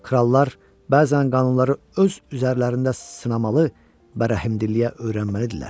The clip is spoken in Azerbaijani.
Krallar bəzən qanunları öz üzərlərində sınamalı və rəhmdilliyə öyrənməlidirlər.